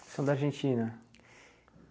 São da Argentina?